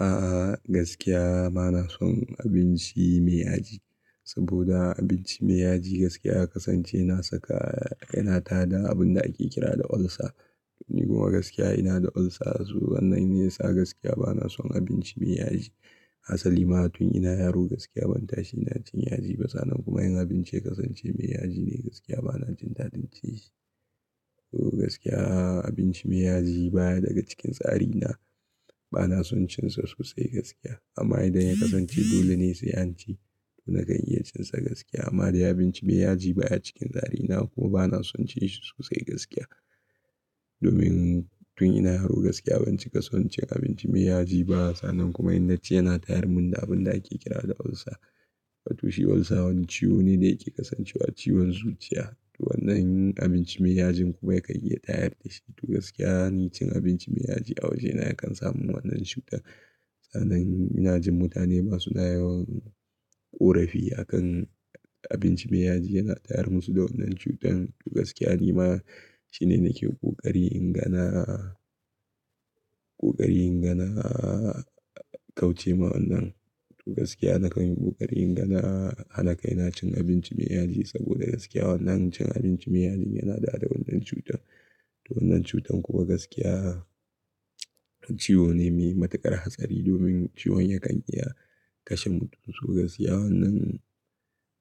A gaskiya ba na son abinci mai yaji, saboda abinci mai yaji gaskiya ya kasance yana saka yana tada abin da ake kira da ulcer. Ni kuma gaskiya ina da ulcer so wannan ne yasa gaskiya ba na son abinci mai yaji. Hasalima ma tun ina yaro gaskiya ban tashi ina cin yaji ba sannan kuma yin abinci ya kasance mai yaji ne gaskiya ba na jin dadin cin shi. To gaskiya abinci mai yaji baya daga cikin tsari na, ba na son cin sa sosai gaskiya. Amma idan ya kasance dole ne sai an ci to na kan iya cin sa gaskiya. Amma dai abinci mai yaji baya cikin tsari na kuma ba na son ci shi sosai gaskiya. Domin tun ina yaro gaskiya ban cika son cin abinci mai yaji ba sannan kuma inna ci yana tayar mun da abin da ake kira da ulcer. Watoshi ulcer wani ciwo ne da yake kasancewa ciwon zuciya. To wannan abinci mai yajin kuma yakan iya tayar da shi. To gaskiya ni cin abinci mai yaji a waje na yakan samin wannan cutar. Sannan ina jin mutane ba su na yawan ƙorafi akan abinci mai yaji yana tayar musu da wannan cutar. To gaskiya ni ma shine nake ƙoƙari ingana, ƙuƙari ingana kauce ma wannan. To gaskiya na kanyi ƙoƙari ingana hana kai na cin abinci mai yaji saboda gaskiya wannan cin abinci mai yaji yana daɗa wannan cutar. To wannan cutar kuma gaskiya wani ciwo ne mai matuƙar hatsari domin ciwon yakan iya kashe mutum. To gaskiya wannan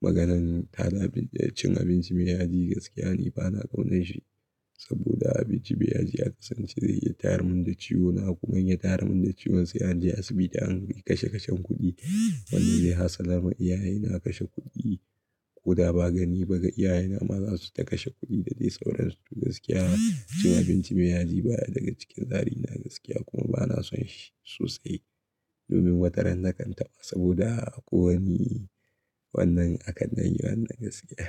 maganan tada cin abinci mai yaji gaskiya ni ba na ƙaunanshi saboda abinci mai yaji yaka san shi zai iya tayar mun da ciwo na kuma in ya tayar mun da ciwon sai an je asibiti an kashe kashen kuɗi. Wanne zai hassala ma iyaye na kashe kuɗi ko da ba gani ba ga iyaye na ma za su ta kashe kuɗi da zai sauransu. To gaskiya cin abinci mai yaji baya daga cikin tsari na gaskiya kuma ba na son shi sosai domin wataran na kan taɓa saboda ako ni wannan akandan yi wannan gaskiya.